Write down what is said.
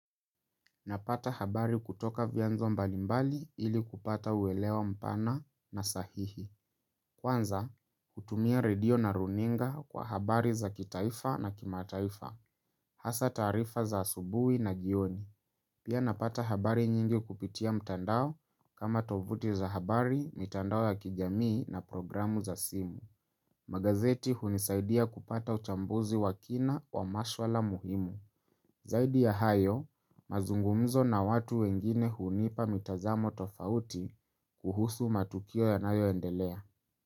Napata habari kutoka vianzo mbalimbali ili kupata uweleo mpana na sahihi. Kwanza, kutumia radio na runinga kwa habari za kitaifa na kimataifa. Hasa taarifa za asubui na jioni. Pia napata habari nyingi kupitia mtandao kama tovuti za habari, mitandao ya kijamii na programu za simu. Magazeti hunisaidia kupata uchambuzi wakina wa maswala muhimu. Zaidi ya hayo, mazungumzo na watu wengine hunipa mitazamo tofauti kuhusu matukio yanayo endelea.